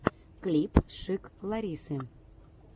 клип шик ларисы